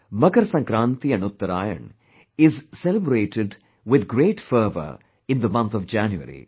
Makar Sankraanti and UttaraayaN is celebrated with great fervour in the month of January